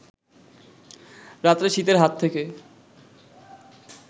রাত্রে শীতের হাত থেকে